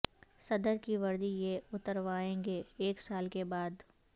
صدر کی وردی یہ اتروائیں گے ایک سال کے بعد